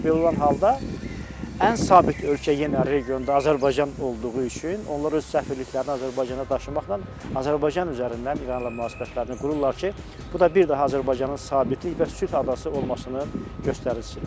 Və belə olan halda ən sabit ölkə yenə regionda Azərbaycan olduğu üçün onlar öz səfirliklərini Azərbaycana daşımaqla, Azərbaycan üzərindən İranla münasibətlərini qururlar ki, bu da bir daha Azərbaycanın sabitlik və sülh adası olmasını göstəricidir.